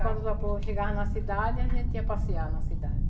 quando o vapor chegava na cidade, a gente ia passear na cidade.